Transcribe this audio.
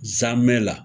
Zamɛ la